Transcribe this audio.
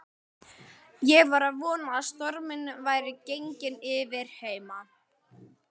Ég var að vona að stormurinn væri genginn yfir heima.